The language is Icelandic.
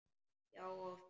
Já, oft.